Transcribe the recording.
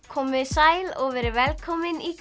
komiði sæl og verið velkomin í